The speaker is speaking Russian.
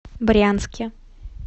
брянске